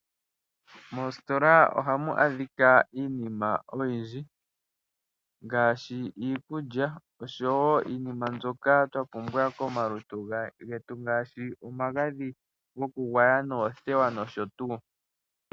Moositola ohamu adhika iinima oyindji ngaashi iikulya oshowo iinima mbyoka twa pumbwa komalutu getu ngaashi omagadhi goku gwaya noothewa nosho tuu.